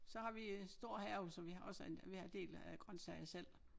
Så har vi en stor have så vi har også en vi har en del øh grøntsager selv